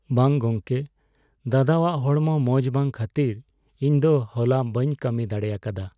ᱵᱟᱝ ᱜᱚᱢᱠᱮ, ᱫᱟᱫᱟᱣᱟᱜ ᱦᱚᱲᱢᱚ ᱢᱚᱡ ᱵᱟᱝ ᱠᱷᱟᱹᱛᱤᱨ ᱤᱧ ᱫᱚ ᱦᱚᱞᱟ ᱵᱟᱹᱧ ᱠᱟᱹᱢᱤ ᱫᱟᱲᱮ ᱟᱠᱟᱫᱟ ᱾